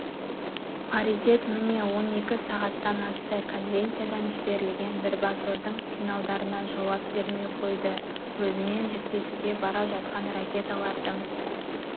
паритет міне он екі сағаттан асты конвенциядан жіберілген бірбасордың сигналдарына жауап бермей қойды өзімен жіктесуге бара жатқан ракеталардың